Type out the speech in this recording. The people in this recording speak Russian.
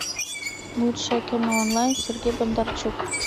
лучшее кино онлайн сергей бондарчук